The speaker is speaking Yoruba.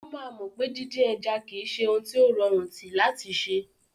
Ó máa mọ̀ pé díndín ẹja kì í ṣe ohun tí ó rọrùn tí láti ṣẹ.